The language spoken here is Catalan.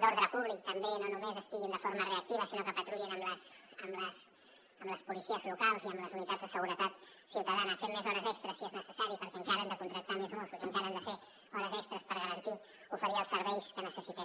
d’ordre públic també no només hi siguin de forma reactiva sinó que patrullin amb les policies locals i amb les unitats de seguretat ciutadana fent més hores extres si és necessari perquè encara hem de contractar més mossos i encara han de fer hores extres per garantir oferir els serveis que necessitem